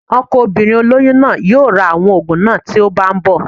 Ọkọ obìnrin olóyún náà yóò ra àwọn òògùn náà tó bá ń bọ̀